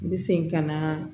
N bɛ segin ka na